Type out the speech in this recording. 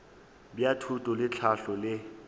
bja thuto le tlhahlo le